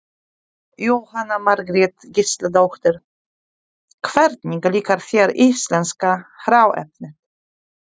Jóhanna Margrét Gísladóttir: Hvernig líkar þér íslenska hráefnið?